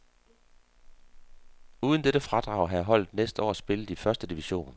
Uden dette fradrag havde holdet næste år spillet i første division.